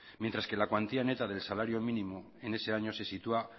mientras que la cuantía neta del salario mínimo en ese año se sitúa